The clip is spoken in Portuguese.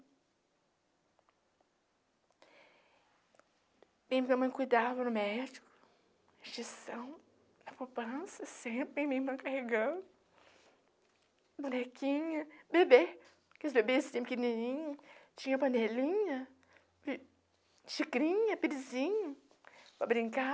A minha mãe cuidava do, a poupança, minha irmã carregando, bonequinha, bebê, porque os bebês sempre pequenininhos, tinha panelinha, xicrinha, perizinho para brincar.